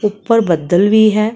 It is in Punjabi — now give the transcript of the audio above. ਉਪਰ ਬੱਦਲ ਵੀ ਹੈ।